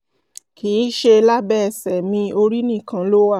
kì í ṣe lábẹ́ ẹsẹ̀ mi orí nìkan ló wà